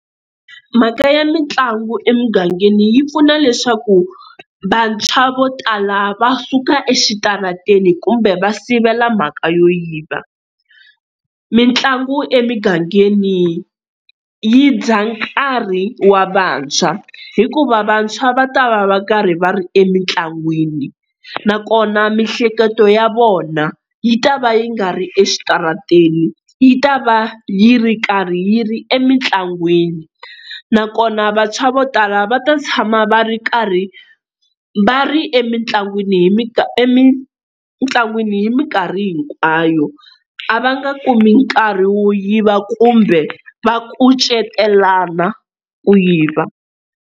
Mhaka ya mitlangu emugangeni yi pfuna leswaku vantshwa vo tala va suka exitarateni kumbe va sivela mhaka yo yiva. Mitlangu emigangeni yi dya nkarhi wa vantshwa hikuva vantshwa va ta va va karhi va ri emitlangwini nakona miehleketo ya vona yi ta va yi nga ri exitarateni yi ta va yi ri karhi yi ri emitlangwini. Nakona vantshwa vo tala va ta tshama va ri karhi va ri emitlangwini hi emitlangwini hi minkarhi hinkwayo a va nga kumi nkarhi wo yiva kumbe va kucetelana ku yiva.